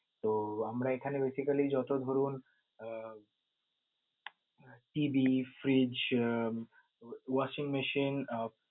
তো আমরা এখানে basically যত ধরন uh TV, fridge, uh washing machine আহ